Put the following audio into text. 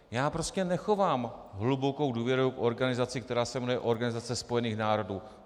Já prostě nechovám hlubokou důvěru v organizaci, která se jmenuje Organizace spojených národů.